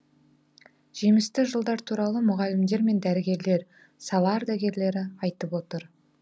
жемісті жылдар туралы мұғалімдер мен дәрігерлер сала ардагерлері айтып отыр